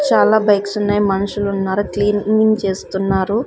చాలా బైక్స్ ఉన్నాయి మనుషులు ఉన్నారు క్లీనింగ్ చేస్తున్నారు.